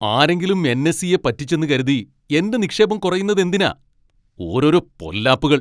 ആരെങ്കിലും N. S. ഇ.യെ പറ്റിച്ചെന്ന് കരുതി എൻ്റെ നിക്ഷേപം കുറയുന്നതെന്തിനാ! ഓരോരോ പൊല്ലാപ്പുകൾ!